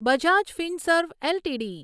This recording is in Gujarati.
બજાજ ફિનસર્વ એલટીડી